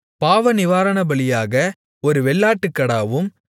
பாவநிவாரணபலியாக ஒரு வெள்ளாட்டுக்கடாவும்